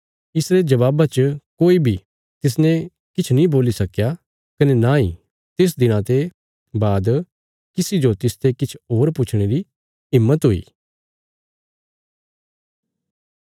इसरे जबाबा च कोई बी तिसने किछ नीं बोल्ली सक्कया कने नांई तिस दिना ते बाद किसी जो तिसते किछ होर पुछणे री हिम्मत हुई